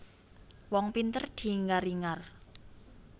Wong pinter diingar ingar